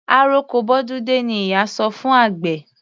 Àroko bọ́dún dé ni ìyá sọ fún àgbẹ̀.